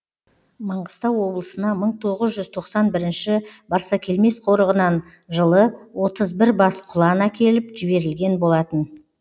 маңғыстау облысына мың тоғыз жүз тоқсан бірінші барсакелмес қорығынан жылы отыз бір бас құлан әкеліп жіберілген болатын